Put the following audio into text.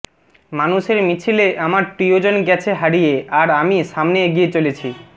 মানুষের মিছিলে আমার প্রিয়জন গেছে হারিয়ে আর আমি সমানে এগিয়ে চলেছি